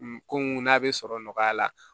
Ko mun n'a bɛ sɔrɔ nɔgɔya la